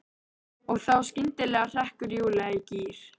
Og þá skyndilega hrekkur Júlía í gír.